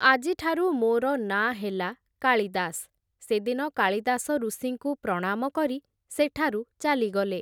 ଆଜିଠାରୁ ମୋର ନାଁ ହେଲା କାଳିଦାସ୍, ସେଦିନ କାଳିଦାସ ଋଷିଙ୍କୁ ପ୍ରଣାମ କରି ସେଠାରୁ ଚାଲିଗଲେ ।